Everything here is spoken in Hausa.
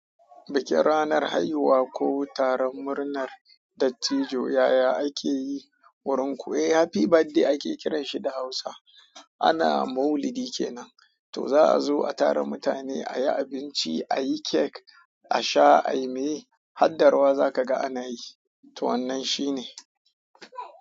Bikin ranar haihuwa ko taron murnar dattijo yaya ake yi wurin ku? Eh, happy birthday ake kiranshi da hausa. Ana "maulidi kenan", to za a zo a tara mutane, a yi abinci, a yi cake, a sha, a yi mai, haddarwa za ka ga ana yi. To wannan shi ne.